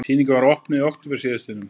Sýningin var opnuð í október síðastliðnum